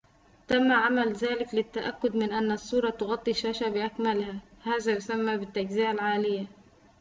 تم عمل ذلك للتأكد من أن الصورة تغطي الشاشة بأكملها هذا يُسمى بالتجزئة العالية